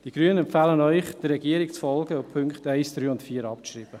Die Grünen empfehlen Ihnen, der Regierung zu folgen und die Punkte 1, 3 und 4 abzuschreiben.